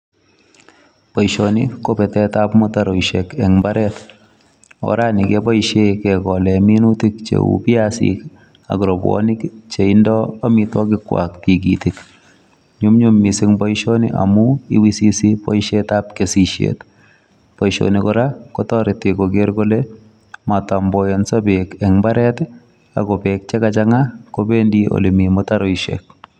Boisoni ko betet ab mutaroishek eng mbaret oraan ni kebaisheen kegoleen minutiik che uu biasiik ak rapuonik che indaa amitwagiik kwaak tikitiik nyumnyum boisioni kora kotaretii ak kogeer kole matamboyensaa beek eng mbaret ako beek che ka changaa kobendii.